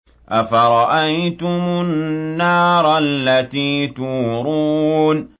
أَفَرَأَيْتُمُ النَّارَ الَّتِي تُورُونَ